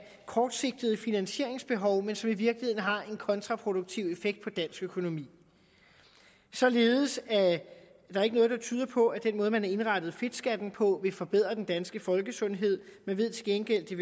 kortsigtede finansieringsbehov men som i virkeligheden har en kontraproduktiv effekt på dansk økonomi således er der ikke noget der tyder på at den måde man har indrettet fedtskatten på vil forbedre den danske folkesundhed man ved til gengæld at det